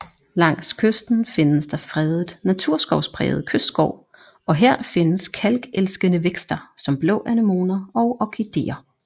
Langs kysten findes der fredet naturskovspræget kystskov og her findes kalkelskende vækster som blå anemoner og orkideer